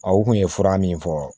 Aw kun ye fura min fɔ